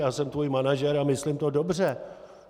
Já jsem tvůj manažer a myslím to dobře."